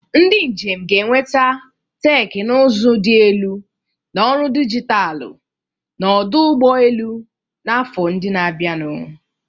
Ndị njem ga-enweta teknụzụ dị elu na ọrụ dijitalụ na ọdụ ụgbọ elu n'afọ ndị na-abịanụ.